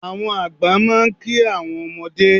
Àwọn àgbà máa ń ki àwọn ọmọdé